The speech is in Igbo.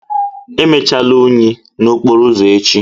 Emechala unyi n'okporo ụzọ echi!